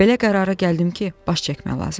Belə qərara gəldim ki, baş çəkməyə lazımdır.